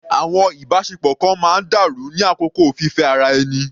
Àwọn ìbáṣepọ̀ kan máa ń dàrú ní àkókò fífẹ́ ara ẹni.